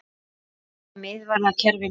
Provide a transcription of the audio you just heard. Er þriggja miðvarða kerfi málið?